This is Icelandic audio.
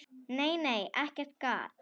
Nei, nei, ekkert gat!